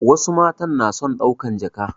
Wasu matan na son ɗaukan jaka